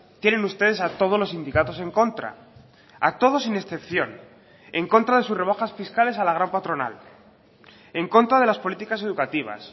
tienen ustedes a todos los sindicatos en contra a todos sin excepción en contra de sus rebajas fiscales a la gran patronal en contra de las políticas educativas